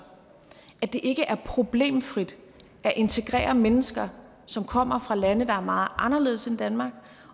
at det ikke er problemfrit at integrere mennesker som kommer fra lande der er meget anderledes end danmark